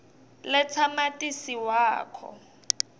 letsa matisi wakho